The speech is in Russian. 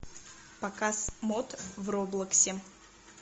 показ мод в роблоксе